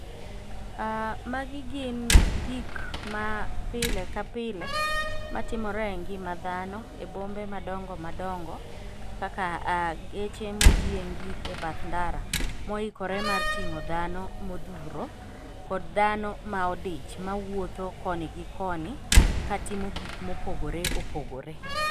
Magi gin gik ma pile ka pile, matimore e ngima dhano e bombe madongo madongo kaka geche moyiengi e bath ndara, moikore mar ting'o dhano modhuro kod dhano maodich mawuotho koni gi koni ka timo gik mopogoreopogore.